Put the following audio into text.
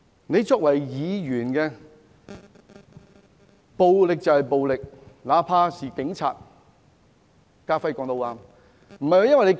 她作為議員，應知道暴力便是暴力，那怕是警察......